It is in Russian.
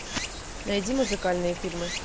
найди музыкальные фильмы